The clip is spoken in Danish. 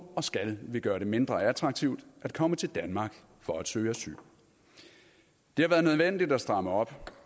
og skal vi gøre det mindre attraktivt at komme til danmark for at søge asyl det har været nødvendigt at stramme op